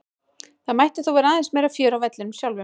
Það mætti þó vera aðeins meira fjör á vellinum sjálfum.